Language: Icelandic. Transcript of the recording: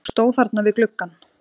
Og stóð þarna við gluggann.